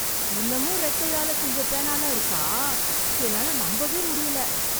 இன்னமும் றெக்கையால செஞ்சப் பேனால்லாம் இருக்கா! என்னால நம்பவே முடியல!